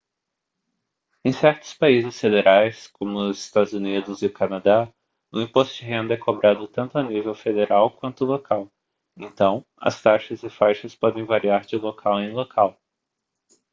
em certos países federais como os eua e o canadá o imposto de renda é cobrado tanto à nível federal quanto local então as taxas e faixas podem variar de local em local